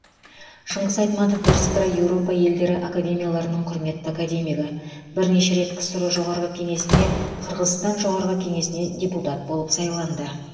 шыңғыс айтматов бірсыпыра еуропа елдері академияларының құрметті академигі бірнеше рет ксро жоғарғы кеңесіне қырғызстан жоғарғы кеңесіне депутат болып сайланды